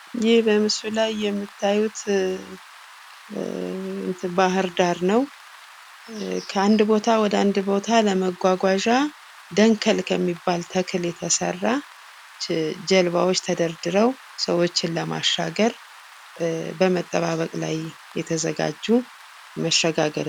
ይህ በምስሉ ላይ የምታዩት ባህር ዳር ነው። ከአንድ ቦታ ወደ ሌላ ቦታ ለመጓጓዣ ደንገል ከሚባል ተክል የተሰራ ጀልባዎች ተደርድረው ሰዎችን ለማሻገር ሰዎችን በመጠባበቅ ላይ የተዘጋጁ መሸጋገሪያ ናቸው።